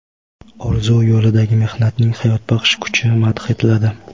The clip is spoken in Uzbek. orzu yo‘lidagi mehnatning hayotbaxsh kuchi madh etiladi.